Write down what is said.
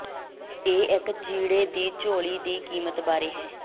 ਇਹ ਇੱਕ ਚੀੜੇ ਦੀ ਝੋਲੀ ਦੀ ਕੀਮਤ ਬਾਰੇ ਹੈ